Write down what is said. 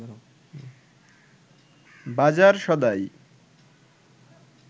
বাজার সদাই